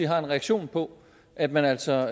har en reaktion på at man altså